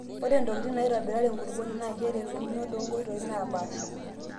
Ore ntokitin naitobirare enkulukuoni naa keretuno toonkoitoi naapasha.